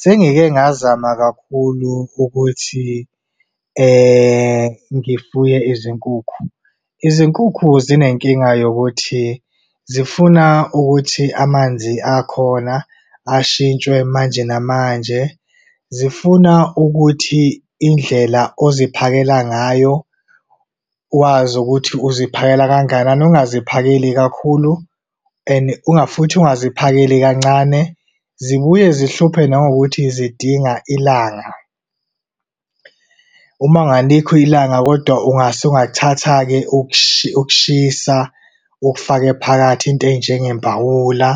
Sengike ngazama kakhulu ukuthi ngifuye izinkukhu. Izinkukhu zinenkinga yokuthi zifuna ukuthi amanzi akhona ashintshwe manje namanje. Zifuna ukuthi indlela oziphakela ngayo, uwazi ukuthi uziphakela kangakanani, ungaziphakeli kakhulu, and futhi ungazi phakeli kancane. Zibuye zihluphe nangokuthi zidinga ilanga. Uma ngalikho ilanga, kodwa usungathatha-ke ukushushisa ukufake phakathi. Iy'nto ey'njenge mbawula,